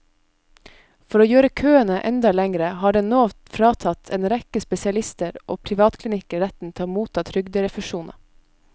For å gjøre køene enda lengre har den nå fratatt en rekke spesialister og privatklinikker retten til å motta trygderefusjoner.